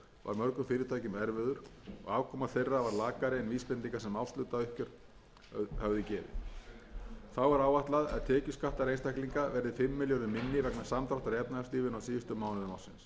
og sjö varð mörgum fyrirtækjum erfiður og afkoma þeirra varð lakari en vísbendingar sem árshlutauppgjör höfðu gefið þá er áætlað að tekjuskattar einstaklinga verði fimm milljörðum minni vegna samdráttar í efnahagslífinu á síðustu mánuðum ársins eignarskattar dragast saman um fjóra milljarða frá áætlun aðallega vegna